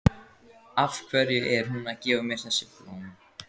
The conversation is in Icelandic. Af hverju er hún að gefa mér þessi blóm?